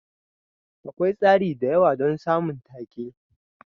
Akwai tsari da yawa don samun take.